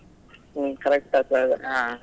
ಹ್ಮ್‌ correct ಆಗ್ತದೆ ಆಗ.